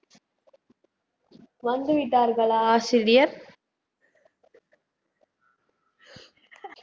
வந்துவிட்டார்களா ஆசிரியர்